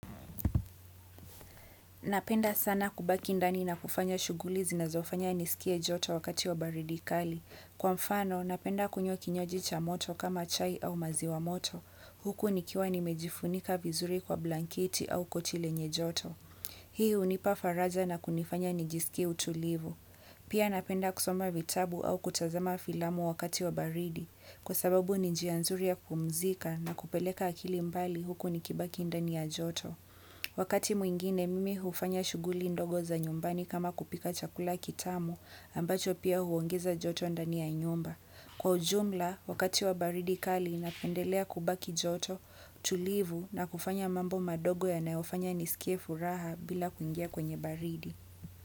Napenda sana kubaki ndani na kufanya shughuli zinazofanya nisikie joto wakati wa baridi kali. Kwa mfano, napenda kunywa kinywaji cha moto kama chai au mazi wa moto. Huku nikiwa nimejifunika vizuri kwa blanketi au koti lenye joto hii hunipa faraja na kunifanya nijisikie utulivu. Pia napenda kusoma vitabu au kutazama filamu wakati wa baridi. Kwa sababu ninjianzuri ya kupumzika na kupeleka akili mbali huku nikibaki ndani ya joto. Wakati mwingine mimi hufanya shughuli ndogo za nyumbani kama kupika chakula kitamu ambacho pia huongeza joto ndani ya nyumba. Kwa ujumla, wakati wa baridi kali napendelea kubaki joto, tulivu na kufanya mambo madogo ya nayofanya nisikie furaha bila kuingia kwenye baridi.